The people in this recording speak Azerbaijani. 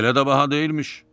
Elə də baha deyilmiş.